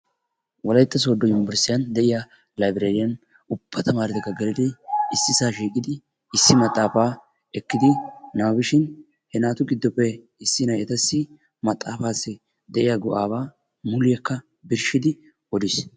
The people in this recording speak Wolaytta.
wollaytta sodo unibersitiyaan de'iyaa laybereriyan ubba taamaretti geelidi issisaa shiiqqidi issi maxaafaa ekkidi nababishin issi na'ay etassi maxaafassi de'iyaa go"aa muliyaa birshidi odiis.